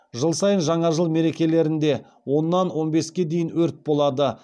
жыл сайын жаңа жыл мерекелерінде оннан он беске дейін өрт болады